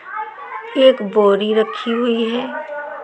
एक बोरी रखी हुई है।